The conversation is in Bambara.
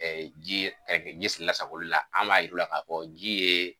ji ji lasagoli la an b'a yir'u la ka ko ji ye